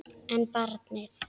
En barnið?